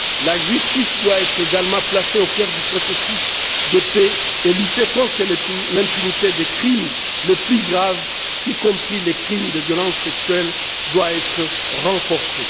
La justice doit également être placée au cœur du processus de paix, et la lutte contre l'impunité des crimes les plus graves, y compris les crimes de violence sexuelle, doit être renforcée.